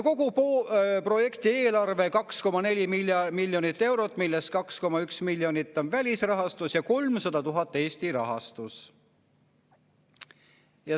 Kogu projekti eelarve on 2,4 miljonit eurot, millest 2,1 miljonit on välisrahastus ja 300 000 Eesti rahastus.